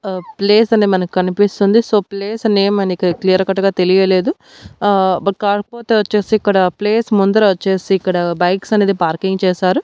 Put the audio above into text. ఆ ప్లేస్ అనే మనకు కనిపిస్తుంది సో ప్లేస్ నేమ్ అని క్లియర్ కట్ గా తెలియలేదు ఆ బట్ కాకపోతే వచ్చేసి ఇక్కడ ప్లేస్ ముందర వచ్చేసి ఇక్కడ బైక్స్ అనేది పార్కింగ్ చేశారు.